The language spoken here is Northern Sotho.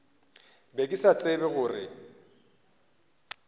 be ke sa tsebe gore